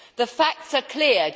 The facts are clear.